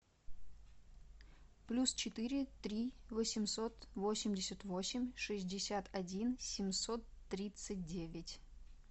плюс четыре три восемьсот восемьдесят восемь шестьдесят один семьсот тридцать девять